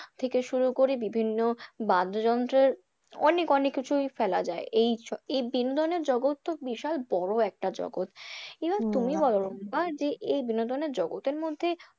থেকে শুরু করে বিভিন্ন বাদ্যযন্ত্রের অনেক অনেক কিছুই ফেলা যায় এই বিনোদনের জগত তো বিশাল বড় একটা জগত । এবার তুমি বলো বা যে এই বিনোদন জগতের মধ্যে,